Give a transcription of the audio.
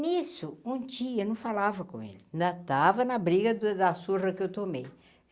Nisso, um dia, não falava com ele, ainda tava na briga da da surra que eu tomei.